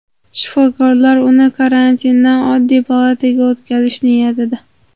Shifokorlar uni karantindan oddiy palataga o‘tkazish niyatida.